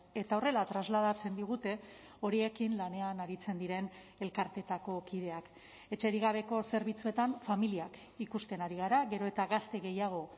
eta horrela trasladatzen digute horiekin lanean aritzen diren elkarteetako kideak etxerik gabeko zerbitzuetan familiak ikusten ari gara gero eta gazte gehiago